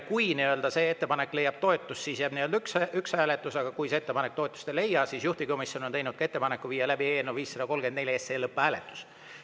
Kui see ettepanek leiab toetust, siis jääb üks hääletus, aga kui see ettepanek toetust ei leia, siis, nagu juhtivkomisjon on ettepaneku teinud, viime läbi eelnõu 534 lõpphääletuse.